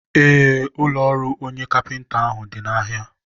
ee, ụlọ ọrụ onye kapịnta ahụ dị n'ahịa.